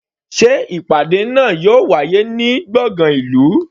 Sé ìpàdé náà yóò wáyé ní gbọ̀ngàn ìlú?